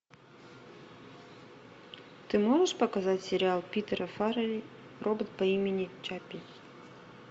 ты можешь показать сериал питера фаррелли робот по имени чаппи